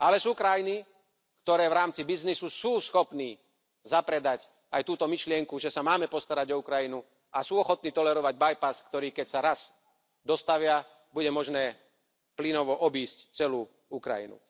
Ale sú krajiny, ktoré v rámci biznisu sú schopné zapredať aj túto myšlienku, že sa máme postarať o Ukrajinu a sú ochotné tolerovať bypass, ktorý, keď sa raz dostavia, bude možné plynovo obísť celú Ukrajinu.